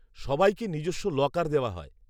সবাইকে নিজস্ব লকার দেওয়া হয়।